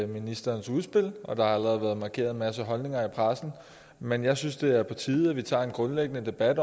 ministerens udspil og der har allerede været markeret en masse holdninger i pressen men jeg synes det er på tide at vi tager en grundlæggende debat